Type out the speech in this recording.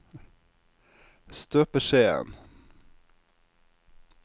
støpeskjeen